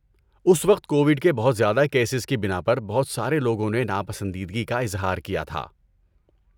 اس وقت کووڈ کے بہت زیادہ کیسز کی بنا پر بہت سارے لوگوں نے ناپسندیدگی کا اظہار کیا تھا۔